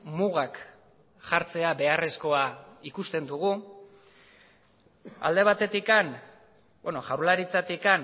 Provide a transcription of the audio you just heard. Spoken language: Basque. mugak jartzea beharrezkoa ikusten dugu alde batetik jaurlaritzatik